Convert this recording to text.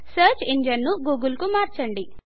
search engine ను Google కు మార్చుదాం